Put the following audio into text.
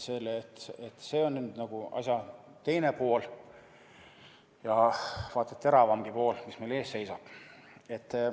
See on nagu asja teine pool, ja vaat et teravamgi pool, mis meil ees seisab.